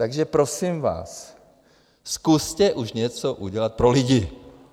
Takže prosím vás, zkuste už něco udělat pro lidi.